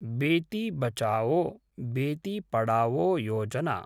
Beti Bachao, Beti Padhao Yojana